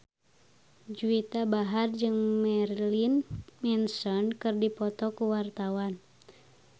Juwita Bahar jeung Marilyn Manson keur dipoto ku wartawan